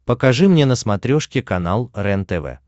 покажи мне на смотрешке канал рентв